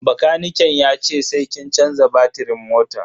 Bakaniken yace sai kin canza batirin motan.